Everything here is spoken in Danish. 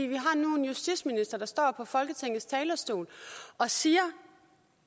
vi har nu en justitsminister der står på folketingets talerstol og siger